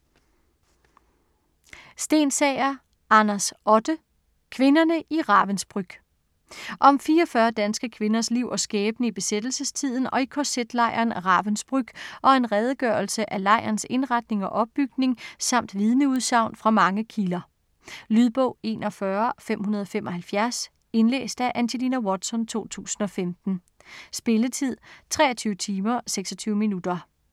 Stensager, Anders Otte: Kvinderne i Ravensbrück Om 44 danske kvinders liv og skæbne i besættelsestiden og i kz-lejren Ravensbrück, og en redegørelse af lejrens indretning og opbygning samt vidneudsagn fra mange kilder. Lydbog 41575 Indlæst af Angelina Watson, 2015. Spilletid: 23 timer, 26 minutter.